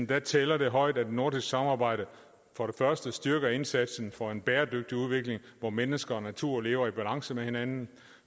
det tæller højt at nordisk samarbejde styrker indsatsen for en bæredygtig udvikling hvor mennesker og natur lever i balance med hinanden